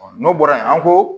n'o bɔra yen an ko